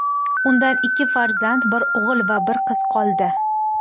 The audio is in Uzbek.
Undan ikki farzand bir o‘g‘il va bir qiz qoldi.